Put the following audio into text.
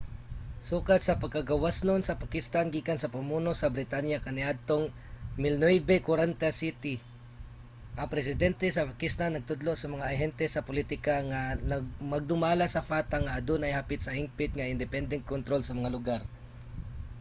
sukad sa pagkagawasnon sa pakistan gikan sa pamuno sa britanya kaniadtong 1947 ang presidente sa pakistan nagtudlo sa mga ahente sa pulitika nga magdumala sa fata nga adunay hapit sa hingpit nga independenteng kontrol sa mga lugar